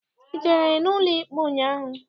I jere n'ụlọikpe ụnyaahụ?